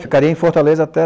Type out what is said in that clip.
Ficaria em Fortaleza até